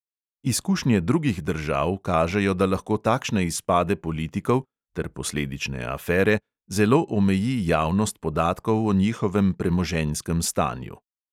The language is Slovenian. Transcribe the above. Izkušnje drugih držav kažejo, da lahko takšne izpade politikov (ter posledične afere) zelo omeji javnost podatkov o njihovem premoženjskem stanju.